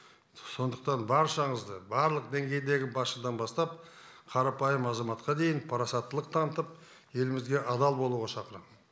сондықтан баршаңызды барлық деңгейдегі басшыдан бастап қарапайым азаматқа дейін парасаттылық танытып елімізге адал болуға шақырамын